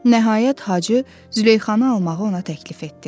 Nəhayət Hacı Züleyxanı almağı ona təklif etdi.